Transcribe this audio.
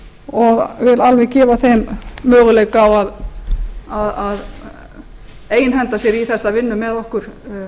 og vil alveg gefa þeim möguleika á að einhenda sér í þessa vinnu með okkur